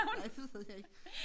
Nej det ved jeg ikke